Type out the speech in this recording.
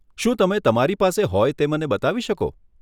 શું તમે તમારી પાસે હોય તે મને બતાવી શકો?